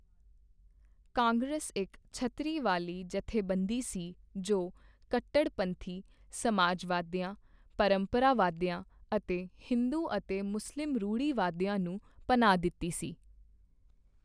ਕਾਂਗਰਸ ਇੱਕ ਛਤਰੀ ਵਾਲੀ ਜਥੇਬੰਦੀ ਸੀ, ਜੋ ਕੱਟੜਪੰਥੀ ਸਮਾਜਵਾਦੀਆਂ, ਪਰੰਪਰਾਵਾਦੀਆਂ ਅਤੇ ਹਿੰਦੂ ਅਤੇ ਮੁਸਲਿਮ ਰੂੜ੍ਹੀਵਾਦੀਆਂ ਨੂੰ ਪਨਾਹ ਦਿੱਤੀ ਸੀ।